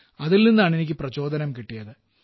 അതിൽ നിന്നാണ് എനിക്ക് പ്രചോദനം കിട്ടിയത്